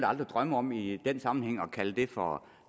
aldrig drømme om i den sammenhæng at kalde det for